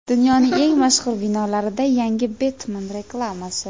Dunyoning eng mashhur binolarida yangi Betmen reklamasi.